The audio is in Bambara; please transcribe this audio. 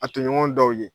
A toɲɔgɔn dɔw ye